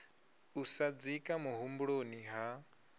u sa dzika muhumbuloni ha